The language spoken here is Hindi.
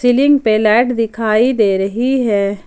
सीलिंग पे लाइट दिखाई दे रही है।